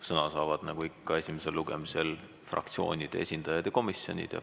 Sõna saavad nagu ikka esimesel lugemisel fraktsioonide ja komisjonide esindajad.